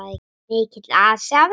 Mikill asi á þeim.